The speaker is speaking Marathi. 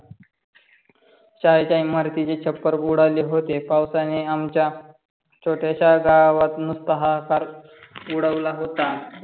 शाळेची इमारतीचे छप्पर उडाले होते. पावसाने आमची छोट्या शा गावात नुसता हा हा कर उडवला होता.